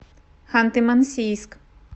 ханты мансийск